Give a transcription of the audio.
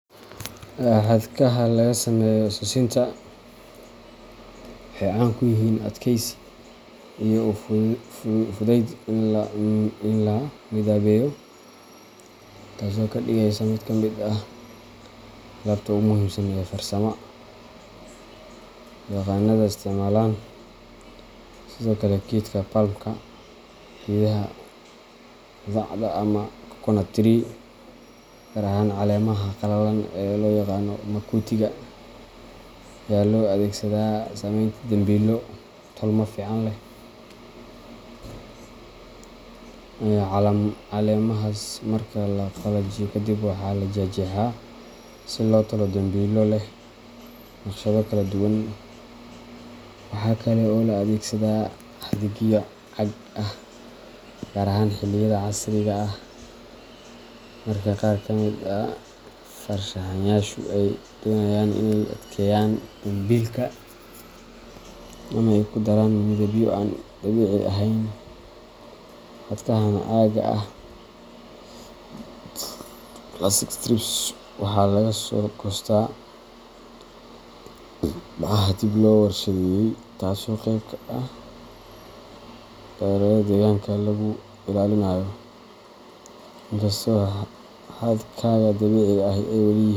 Xadhkaha laga sameeyo sisinta waxay caan ku yihiin adkeysi iyo u fudayd in la midabeeyo, taasoo ka dhigaysa mid ka mid ah alaabta ugu muhiimsan ee farsama. yaqaannada isticmaalaan. Sidoo kale, geedka palmka geedaha qudhacda ama coconut tree gaar ahaan caleemaha qalalan ee loo yaqaan "makutiga", ayaa loo adeegsadaa samaynta dambilo tolmo fiican leh. Caleemahaas marka la qalajiyo kadib, waa la jeexjeexaa si loogu tolo dambilo leh naqshado kala duwan. Waxaa kale oo la adeegsadaa xadhigyo caag ah, gaar ahaan xilliyada casriga ah marka qaar ka mid ah farshaxanayaashu ay doonayaan inay adkeeyaan dambilka ama ay ku daraan midabyo aan dabiici ahayn. Xadhkahan caagga ah plastic strips waxaa laga soo goostaa bacaha dib loo warshadeeyay, taasoo qayb ka ah dadaallada deegaanka lagu ilaalinayo. Inkastoo xadhkaha dabiiciga ahi ay welii.